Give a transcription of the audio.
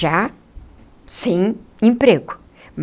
Já sem emprego.